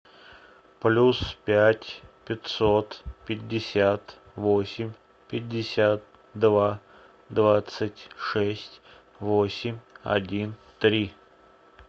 плюс пять пятьсот пятьдесят восемь пятьдесят два двадцать шесть восемь один три